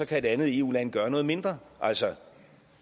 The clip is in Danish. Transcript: kan et andet eu land gøre noget mindre altså